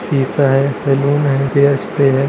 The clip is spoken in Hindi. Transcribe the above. शीशा है सैलून है हेयर स्प्रे है।